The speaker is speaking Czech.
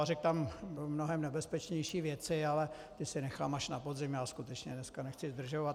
A řekl tam mnohem nebezpečnější věci, ale to si nechám až na podzim, já skutečně dneska nechci zdržovat.